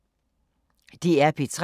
DR P3